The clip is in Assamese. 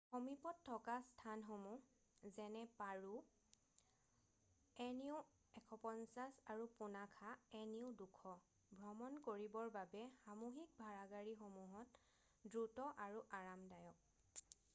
সমীপত থকা স্থানসমূহ যেনে পাৰো nu ১৫০ আৰু পুনাখা nu ২০০ ভ্ৰমণ কৰিবৰ বাবে সামুহিক ভাড়াগাড়ীসমূহ দ্ৰুত আৰু আৰামদায়ক।